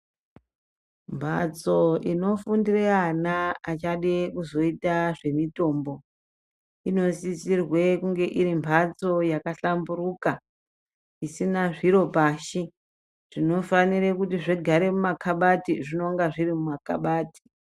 Mbatso inofundire ana achade kuzoita zvemitombo inosisirwe kunge iri mbatso yakahlamburika isina zviro pashi zvinofanire kuti zvigare muma kabati zvinonga zviri mumakabati.